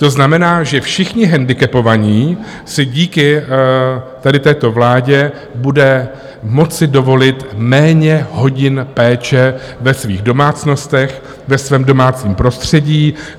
To znamená, že všichni handicapovaní si díky tady této vládě budou moci dovolit méně hodin péče ve svých domácnostech, ve svém domácím prostředí.